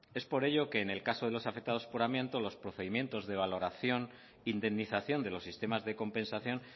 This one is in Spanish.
es por ello que en el caso de los afectados por amianto los procedimientos de valoración e indemnización de los sistemas de compensación